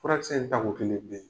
Furakisɛ in tako kelen pe.